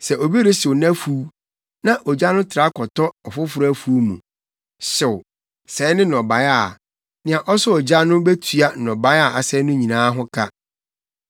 “Sɛ obi rehyew nʼafuw, na ogya no tra kɔtɔ ɔfoforo afuw mu, hyew, sɛe ne nnɔbae a, nea ɔsɔɔ gya no betua nnɔbae a asɛe no nyinaa ho ka.